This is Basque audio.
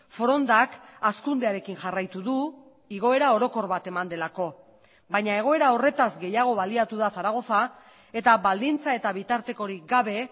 forondak hazkundearekin jarraitu du igoera orokor bat eman delako baina egoera horretaz gehiago baliatu da zaragoza eta baldintza eta bitartekorik gabe